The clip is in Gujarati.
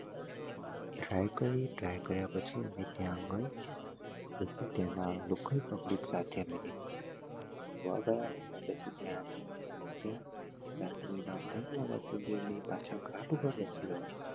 cycling કાર્ય પછી અમે ત્યાં આગળ ને પછી ત્યાં પાછા અમે ઘાટ પર બેસી આવ્યા